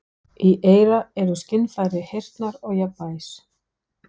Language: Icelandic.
Í eyra eru skynfæri heyrnar og jafnvægis.